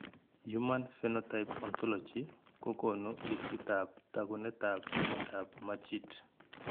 Human Phenotype Ontology kokoonu listiitab taakunetaab myondap Majeed.